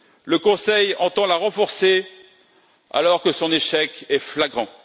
Le Conseil entend la renforcer, alors que son échec est flagrant.